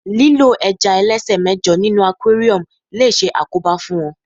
lílo ẹja ẹlẹsẹ mẹjọ ní inú aquarium lo se àkóbá fún wón